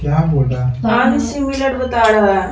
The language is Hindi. क्या बोल रहा है।